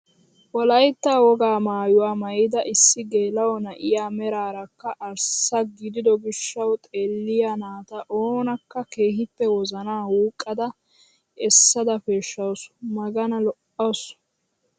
Wolaytta wogaa maayuwaa maayida issi geela'o na'iyaa meraarakka arssa gidido gishshawu xeelliyaa naata oonakka keehippe wozanaa wuqqada essada peshshawus magani lo"awus!